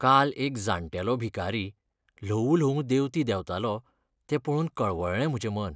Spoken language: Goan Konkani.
काल एक जाण्टेलो भिकारी ल्हवू ल्हवू देंवती देंवतालो तें पळोवन कळवळ्ळें म्हजें मन.